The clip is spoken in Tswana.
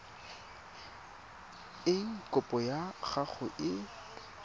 eng kopo ya gago e